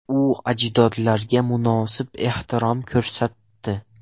U ajdodlarga munosib ehtirom ko‘rsatdi.